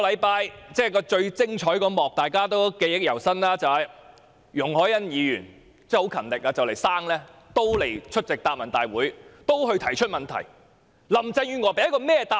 大家對上星期最精彩的一幕應該記憶猶新，就是容海恩議員十分勤力，快將臨盆仍出席答問會和提出質詢。